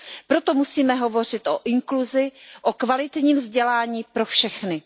Proto musíme hovořit o inkluzi, o kvalitním vzdělání pro všechny.